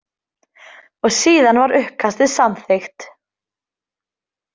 Og síðan var uppkastið samþykkt.